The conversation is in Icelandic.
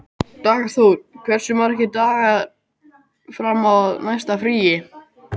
Dagþór, hversu margir dagar fram að næsta fríi?